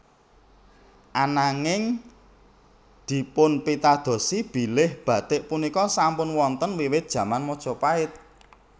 Ananging dipunpitadosi bilih batik punika sampun wonten wiwit jaman Majapahit